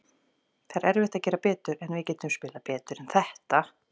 Það er erfitt að gera betur, en við getum spilað betur en þetta.